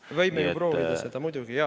Me võime ju proovida seda, muidugi, jaa.